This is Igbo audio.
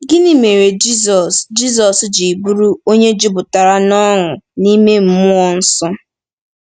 Gịnị mere Jizọs Jizọs ji bụrụ ‘onye jupụtara n’ọṅụ n’ime mmụọ nsọ’?